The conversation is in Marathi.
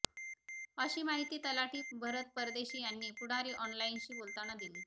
अशी माहिती तलाठी भरत परदेशी यांनी पुढारी ऑनलाईनशी बोलतना दिली